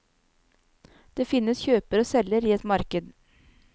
Det finnes kjøper og selger i et marked.